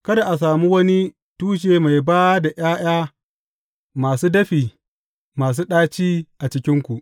Kada a sami wani tushe mai ba da ’ya’ya masu dafi, masu ɗaci a cikinku.